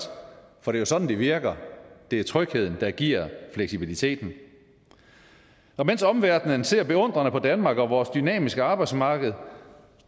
for det er sådan det virker det er trygheden der giver fleksibiliteten mens omverdenen ser beundrende på danmark og vores dynamiske arbejdsmarked